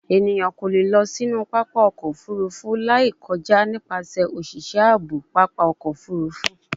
Eniyan ko le lọ sinu papa ọkọ ofurufu lai kọja nipasẹ oṣiṣẹ aabo papa ọkọ ofurufu